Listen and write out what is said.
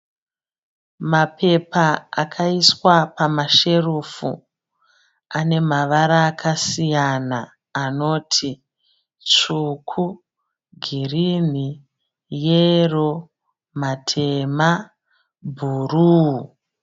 Mapepha akaiswa pamasherufu anemavara akasiyana anoti svuku, girirni, yero, matema, bhuru.